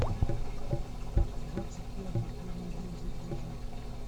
двадцать пятое первый день загрузи